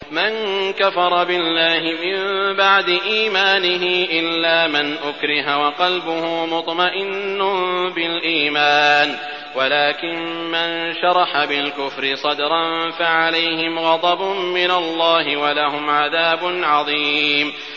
مَن كَفَرَ بِاللَّهِ مِن بَعْدِ إِيمَانِهِ إِلَّا مَنْ أُكْرِهَ وَقَلْبُهُ مُطْمَئِنٌّ بِالْإِيمَانِ وَلَٰكِن مَّن شَرَحَ بِالْكُفْرِ صَدْرًا فَعَلَيْهِمْ غَضَبٌ مِّنَ اللَّهِ وَلَهُمْ عَذَابٌ عَظِيمٌ